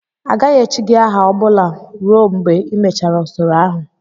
Agaghị echi gị aha ọ bụla ruo mgbe ịmechara usoro ahụ!